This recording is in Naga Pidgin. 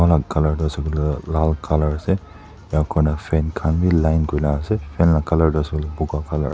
colour tu ase koilae tu lal colour ase enika kurina fan khan bi line kurina ase colour tuase koilae buka colour .